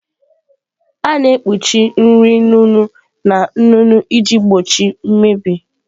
A na-ekpuchi nri nnu nnu na nnu iji gbochie mmebi